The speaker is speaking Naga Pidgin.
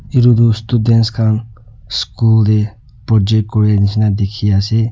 etu tu students khan school te project kuria nishe na dikhi ase.